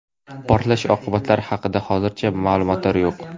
Portlash oqibatlari haqida hozircha ma’lumotlar yo‘q.